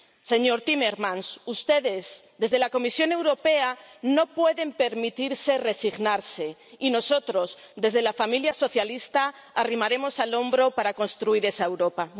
Señor Timmermans, ustedes desde la Comisión Europea no pueden permitirse resignarse y nosotros desde la familia socialista arrimaremos el hombro para construir esa Europa.